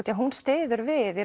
því að hún styður við